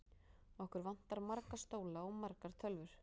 Okkur vantar marga stóla og margar tölvur.